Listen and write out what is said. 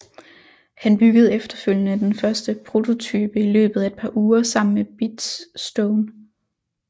Han byggede efterfølgende den første prototype i løbet af et par uger sammen med Biz Stone